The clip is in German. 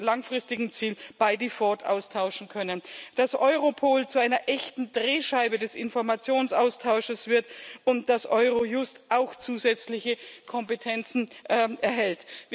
langfristigen Zielen by default austauschen können, dass Europol zu einer echten Drehscheibe des Informationsaustauschs wird und dass Eurojust auch zusätzliche Kompetenzen erhält.